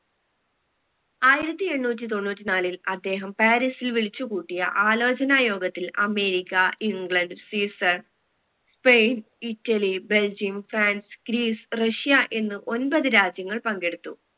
ആയിരത്തി എണ്ണൂറ്റി തൊണ്ണൂറ്റി നാലിൽ അദ്ദേഹം പാരീസിൽ വിളിച് കൂട്ടിയ ആലോചന യോഗത്തിൽ America England Sweden Spain Italy Belgium France Greece Russia എന്ന് ഒൻമ്പത് രാജ്യങ്ങൾ പങ്കെടുത്തു